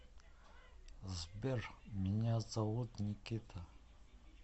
сбер меня зовут никита